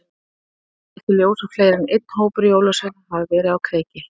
Rannsóknir hafa leitt í ljós að fleiri en einn hópur jólasveina hafa verið á kreiki.